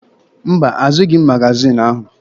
Mba, azụghị m magaziini ahụ.